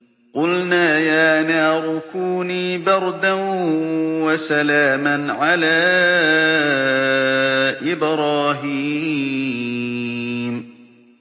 قُلْنَا يَا نَارُ كُونِي بَرْدًا وَسَلَامًا عَلَىٰ إِبْرَاهِيمَ